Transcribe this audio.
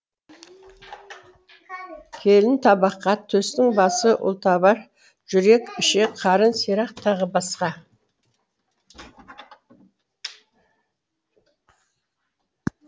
келін табаққа төстің басы ұлтабар жүрек ішек қарын сирақ т б